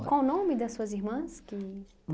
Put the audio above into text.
qual o nome das suas irmãs que